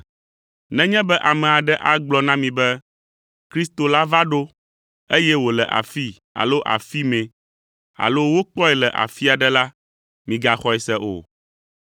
Nenye be ame aɖe agblɔ na mi be, ‘Kristo la va ɖo,’ eye wòle afii alo afi mɛ alo ‘wokpɔe le afi aɖe la,’ migaxɔe se o,